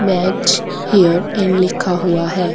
Match hair in लिखा हुआ है।